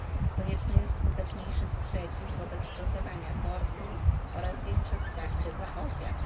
Konieczny jest skuteczniejszy sprzeciw wobec stosowania tortur oraz większe wsparcie dla ofiar.